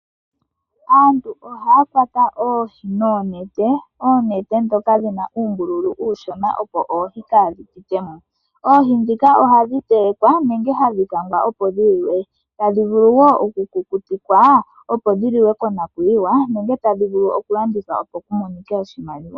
Aantu ohaya kwata oohi noonete, oonete ndhoka dhina uumbululu uushona, opo oohi kaadhi pite mo. Oohi ndhika ohadhi telekwa nenge hadhi kangwa opo dhi liwe, tadhi vulu oku kuku tikwa opo dhiliwe ko nakuyiwa, enge tadhi vulu wo oku landithwa opo ku monike oshimaliwa.